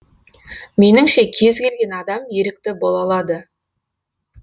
меніңше кез келген адам ерікті бола алады